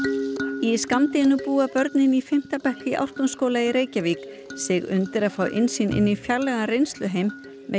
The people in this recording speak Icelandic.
í skammdeginu búa börnin í fimmta bekk Ártúnsskóla í Reykjavík sig undir að fá innsýn inn í fjarlægan reynsluheim með